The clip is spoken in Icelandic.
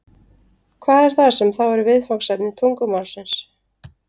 Hvað er það sem þá er viðfangsefni tungumálsins?